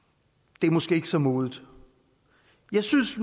det er måske ikke så modigt jeg synes